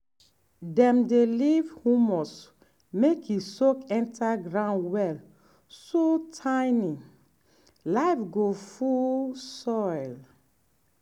dem dey leave humus make e soak enter ground well so tiny life go full soil. um